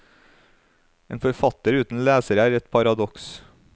En forfatter uten lesere er et paradoks.